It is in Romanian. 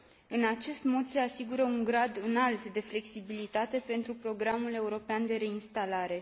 În acest mod se asigură un grad înalt de flexibilitate pentru programul european de reinstalare.